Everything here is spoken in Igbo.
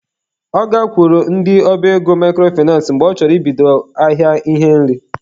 Ọ gakwuru ndị ọba ego microfinace mgbe ọ chọrọ ibido ahịa ihe nri.